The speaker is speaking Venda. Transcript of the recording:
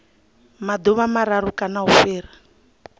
maḓuvha mararu kana u fhira